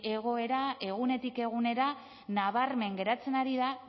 egoera egunetik egunera nabarmen geratzen ari da